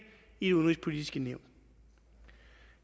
i det udenrigspolitiske nævn